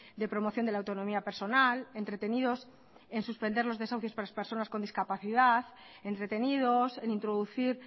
de promoción de la autonomía personal entretenidos en suspender los desahucios para las personas con discapacidad entretenidos en introducir